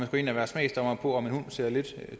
gå ind og være smagsdommere over for om en hund ser lidt